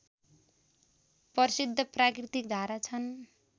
प्रसिद्ध प्राकृतिक धारा छन्